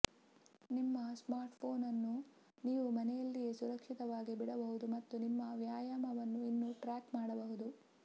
ನಿಮ್ಮ ಸ್ಮಾರ್ಟ್ಫೋನ್ ಅನ್ನು ನೀವು ಮನೆಯಲ್ಲಿಯೇ ಸುರಕ್ಷಿತವಾಗಿ ಬಿಡಬಹುದು ಮತ್ತು ನಿಮ್ಮ ವ್ಯಾಯಾಮವನ್ನು ಇನ್ನೂ ಟ್ರ್ಯಾಕ್ ಮಾಡಬಹುದು